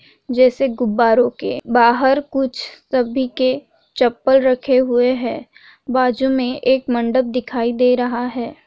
जैसे गुब्बारों के बाहर कुछ सभी के चप्पल रखे हुए हैं बाजु में एक मंडप दिखाई दे रहा है।